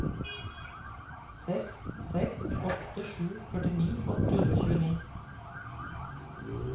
seks seks åtte sju førtini åtte hundre og tjueni